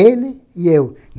Ele e eu.